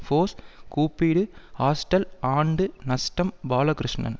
force கூப்பிடு hostel ஆண்டு நஷ்டம் பாலகிருஷ்ணன்